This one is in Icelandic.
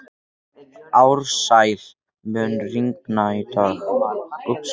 Ársæl, mun rigna í dag?